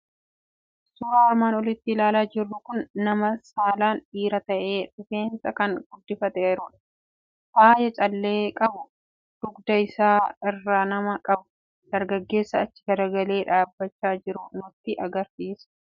Suuraan armaan olitti ilaalaa jirru kun nama saalaan dhiira ta'e, rifeensa kan guddifateeru, faaya callee qabu dugda isaa irraa nama qabu, dargaggeessa achi galagalee dhaabbachaa jiru nutti argisiisa. Calleen mataa irra ni jira.